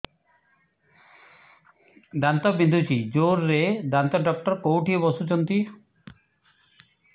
ଦାନ୍ତ ବିନ୍ଧୁଛି ଜୋରରେ ଦାନ୍ତ ଡକ୍ଟର କୋଉଠି ବସୁଛନ୍ତି